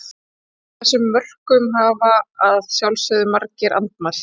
Þessum rökum hafa að sjálfsögðu margir andmælt.